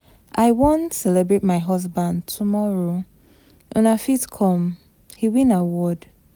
I wan celebrate my husband tomorrow, una fit come, he win award.